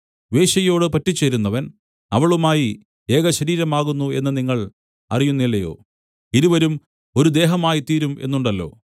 വേശ്യയോട് പറ്റിച്ചേരുന്നവൻ അവളുമായി ഏകശരീരമാകുന്നു എന്ന് നിങ്ങൾ അറിയുന്നില്ലയോ ഇരുവരും ഒരു ദേഹമായിത്തീരും എന്നുണ്ടല്ലോ